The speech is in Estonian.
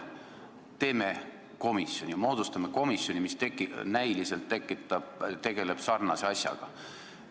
Teeme komisjoni, moodustame komisjoni, mis näiliselt tegeleb sarnase asjaga.